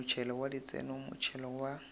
motšhelo wa ditseno motšhelo wa